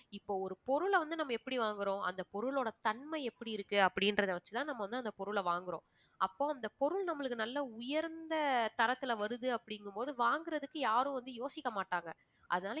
இப்போ ஒரு பொருள வந்து நம்ம எப்படி வாங்குறோம் அந்த பொருளோட தன்மை எப்படி இருக்கு அப்படின்றத வெச்சிதான் நம்ம வந்து அந்தப் பொருள வாங்குறோம். அப்போ அந்தப் பொருள் நம்மளுக்கு நல்ல உயர்ந்த தரத்தில வருது அப்படின்னும் போது வாங்குறதுக்கு யாரும் வந்து யோசிக்க மாட்டாங்க அதனால